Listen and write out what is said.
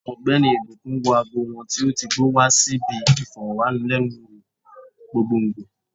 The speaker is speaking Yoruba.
Ogbeni ìbùkún wọ ago wọn tó ti gbó wa si bi iforowanilenu wo gbogbogbo